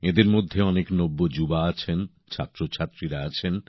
এঁদের মধ্যে অনেক নব্য যুবকযুবতী আছেন ছাত্রছাত্রীরা আছেন